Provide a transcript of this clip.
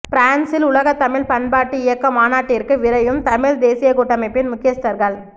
பிரான்சில் உலகத் தமிழ் பண்பாட்டு இயக்க மாநாட்டிற்கு விரையும் தமிழ் தேசியக் கூட்டமைப்பின் முக்கியஸ்தர்கள்